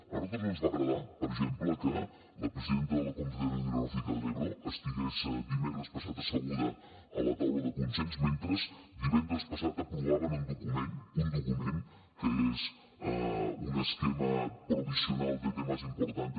a nosaltres no ens va agradar per exemple que la presidenta de la confederación hidrográfica del ebro estigués dimecres passat asseguda a la taula de consens mentre divendres passat aprovaven en document que és un esquema provisional de temas importantes